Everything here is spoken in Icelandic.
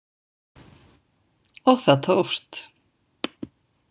Og það tókst